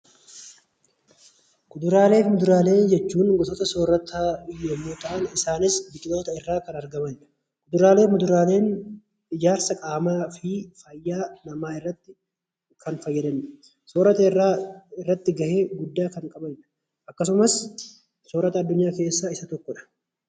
Kuduraalee fi muduraalee jechuun gosoota soorataa yommuu ta'an Isaanis biqiloota irraa kan argamanidha. Kuduraalee fi muduraaleen ijaarsa qaamaa fi fayyaa namaa irratti kan fayyadanidha. Akkasumas soorata addunyaa keessaa Isa tokkodha